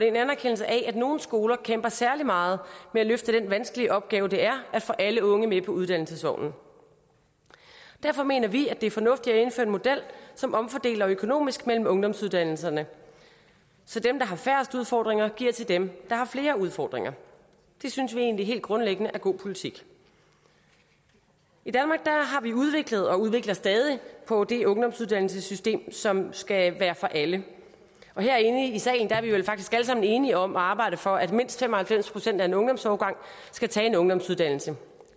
en anerkendelse af at nogle skoler kæmper særlig meget med at løfte den vanskelige opgave det er at få alle unge med på uddannelsesvognen derfor mener vi det er fornuftigt at indføre en model som omfordeler økonomisk mellem ungdomsuddannelserne så dem der har færrest udfordringer giver til dem der har flere udfordringer det synes vi egentlig helt grundlæggende er god politik i danmark har vi udviklet og udvikler stadig på det ungdomsuddannelsessystem som skal være for alle og herinde i salen er vi vel faktisk alle sammen enige om at arbejde for at mindst fem og halvfems procent af en ungdomsårgang skal tage en ungdomsuddannelse